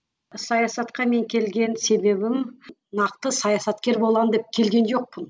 саясатқа мен келген себебім нақты саясаткер боламын деп келген жоқпын